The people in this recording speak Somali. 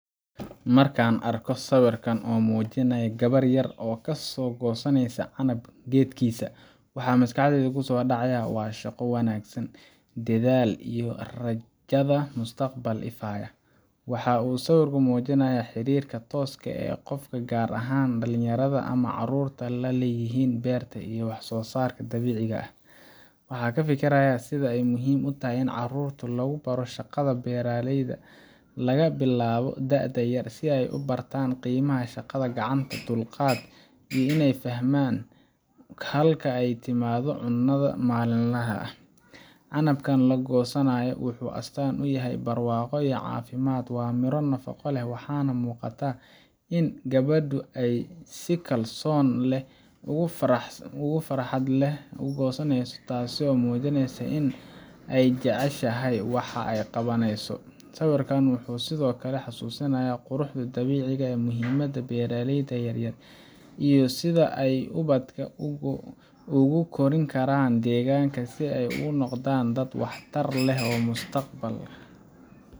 Marka aan arko sawirkan oo muujinaya gabar yar oo kasoo goosanaysa canab geedkiisa, waxa maskaxdayda kusoo dhacaya shaqo wanaagsan, dedaal iyo rajada mustaqbal ifaya. Waxa uu sawirku muujinayaa xiriirka tooska ah ee qofka, gaar ahaan dhalinyarada ama carruurta, la leeyihiin beerta iyo wax soo saarka dabiiciga ah. Waxaan ka fikirayaa sida ay muhiim u tahay in carruurta lagu baro shaqada beeraleyda laga bilaabo da’da yar, si ay u bartaan qiimaha shaqada gacanta, dulqaadka, iyo inay fahmaan halka ay ka timaado cunnadooda maalinlaha ah. Canabka la goosanayo wuxuu astaan u yahay barwaaqo iyo caafimaad. Waa miro nafaqo leh, waxaana muuqata in gabadhu ay si kalsooni leh oo farxad leh u goosanayso, taasoo muujinaysa in ay jeceshahay waxa ay qabanayso. Sawirkani wuxuu sidoo kale xasuusinayaa quruxda dabiiciga ah, muhiimadda beeraleyda yar yar, iyo sida ay ubadka ugu korin karaan deegaanka si ay u noqdaan dad waxtar leh mustaqbal